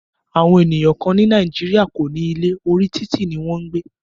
Àwọn ènìyàn kán ní Nàìjíríà kò ní ilé, orí títì ní wọn ń gbé.